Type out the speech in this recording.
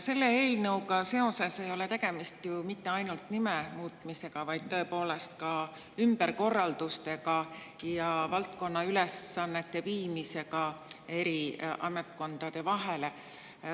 Selle eelnõu puhul ei ole tegemist ju mitte ainult nime muutmisega, vaid tõepoolest ka ümberkorraldustega ja valdkonna ülesannete eri ametkondadele.